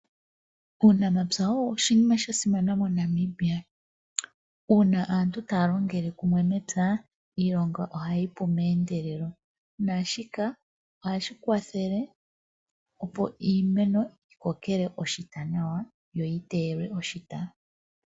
Uunamapya owo oshinima sha simana mo Namibia. Uuna aantu taya longele kumwe mepya, iilonga ohayi pu meendelelo. Naashika ohashi kwathele opo iimeno yikokele oshita nawa yo yi teyelwe oshita .